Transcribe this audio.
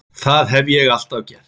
Það hef ég alltaf gert